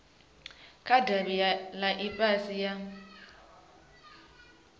kha davhi ḽa ofisi ya